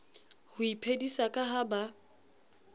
ho iphedisa ka ha ba